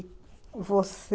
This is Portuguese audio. você...